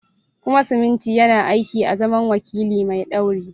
Kuma siminti yana aiki azaman wakili mai ɗauri.